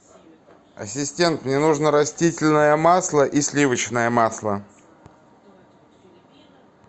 ассистент мне нужно растительное масло и сливочное масло